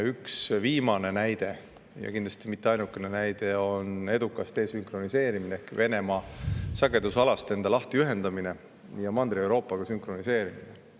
Üks viimane näide, ja kindlasti mitte ainuke näide, on edukas desünkroniseerimine ehk Venemaa sagedusalast enda lahtiühendamine ja Mandri-Euroopa sünkroniseerimine.